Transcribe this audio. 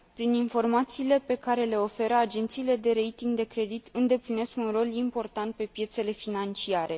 Prin informațiile pe care le oferă, agențiile de rating de credit îndeplinesc un rol important pe piețele financiare.